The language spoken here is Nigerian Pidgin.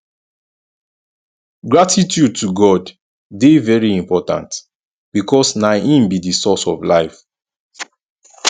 gratitude to god de very important because na im be di source of life